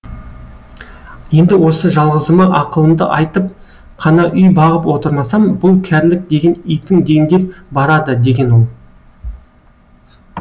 енді осы жалғызыма ақылымды айтып қана үй бағып отырмасам бұл кәрілік деген итің дендеп барады деген ол